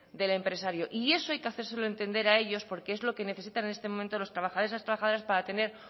del empresario y eso hay que hacérselo entender a ellos porque es lo que necesitan los trabajadores y trabajadoras para tener